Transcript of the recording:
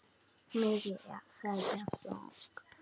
Mikil er þeirra sorg.